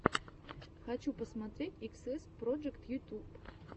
хочу посмотреть иксэс проджект ютюб